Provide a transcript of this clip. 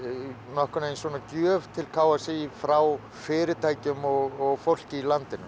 nokkurn veginn gjöf til k s í frá fyrirtækjum og fólki í landinu